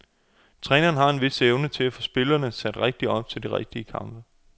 Træneren har en vis evne til at få spillerne sat rigtig op til de rigtige kampe.